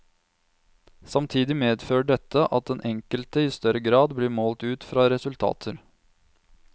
Samtidig medfører dette at den enkelte i større grad blir målt ut fra resultater.